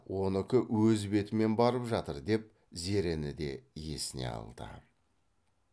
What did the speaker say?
оныкі өз бетімен барып жатыр деп зерені де есіне алды